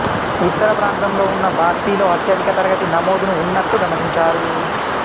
ఉత్తర ప్రాంతంలో ఉన్న బార్సిలో అత్యధిక తరగతి నమోదును ఉన్నట్లు గమనించారు